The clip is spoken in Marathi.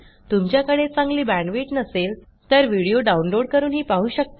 तुमच्याकडे चांगली बॅण्डविड्थ नसेल तर व्हिडीओ download160 करूनही पाहू शकता